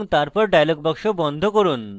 এবং তারপর dialog box বন্ধ করুন